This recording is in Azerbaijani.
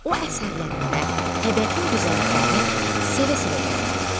O əsərlərində təbiətin gözəlliklərini sevə-sevə qələmə alır.